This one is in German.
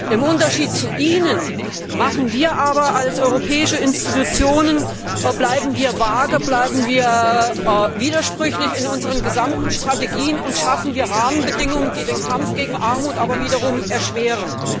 Im Unterschied zu ihnen bleiben wir als europäische Institutionen aber vage, bleiben wir widersprüchlich in unseren gesamten Strategien und schaffen wir Rahmenbedingungen, die den Kampf gegen Armut wiederum erschweren.